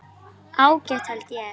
Ágætt held ég.